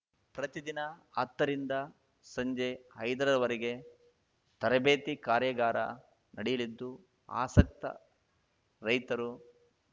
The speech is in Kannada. ಪ್ರತಿದಿನ ಹತ್ತರಿಂದ ಸಂಜೆ ಐದರವರೆಗೆ ತರಬೇತಿ ಕಾರ್ಯಾಗಾರ ನಡೆಯಲಿದ್ದು ಆಸಕ್ತ ರೈತರು